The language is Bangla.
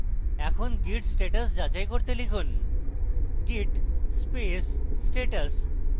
এখন git status যাচাই করতে লিখুন git space status